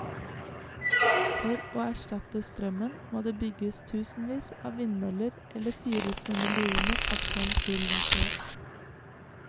For å erstatte strømmen må det bygges tusenvis av vindmøller eller fyres med millioner av tonn kull hvert år.